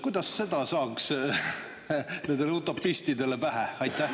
Kuidas seda saaks nendele utopistidele pähe?